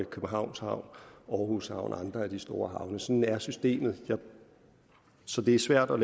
københavns havn aarhus havn og andre af de store havne sådan er systemet så det er svært at